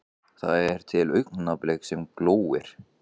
Það er til augnablik sem glóir.